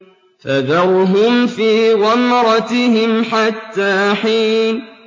فَذَرْهُمْ فِي غَمْرَتِهِمْ حَتَّىٰ حِينٍ